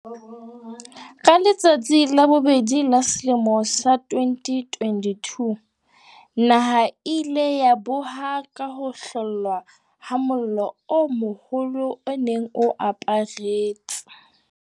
Ka letsatsi la bobedi la selemo sa 2022, naha e ile ya boha ka ho hlollwa ha mollo o moholo o ne o aparetse